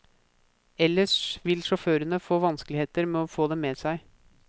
Ellers vil sjåførene få vanskeligheter med å få dem med seg.